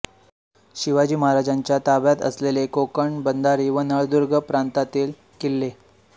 शिवाजी महाराजांच्या ताब्यात असलेले कोकण बंधारी व नळदुर्ग प्रांतांतील किल्ले